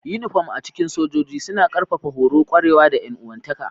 Uniform a cikin sojoji suna ƙarfafa horo, ƙwarewa, da 'yan uwantaka.